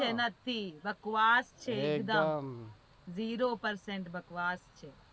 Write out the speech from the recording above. નારથી બકવાસ છે એકદ